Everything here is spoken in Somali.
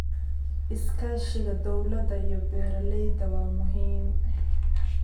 Iskaashiga dowladda iyo beeralayda waa muhiim.